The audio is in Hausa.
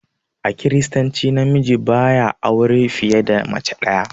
A kiristanci na miji ba ya auran fiye da mace ɗaya.